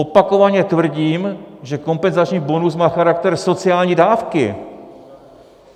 Opakovaně tvrdím, že kompenzační bonus má charakter sociální dávky.